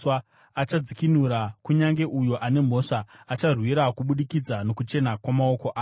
Achadzikinura kunyange uyo ane mhosva, acharwirwa kubudikidza nokuchena kwamaoko ako.”